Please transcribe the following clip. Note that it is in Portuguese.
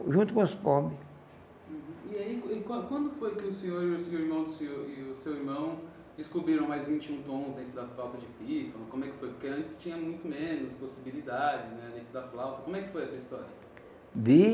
Junto com os pobres. Uhum. E aí e quando quando foi que o senhor e o seu irmão e o seu irmão descobriram mais vinte e um tons dentro da flauta de pífano? Como é que foi, porque antes tinha muito menos possibilidades né, dentro da flauta? Como é que foi essa história?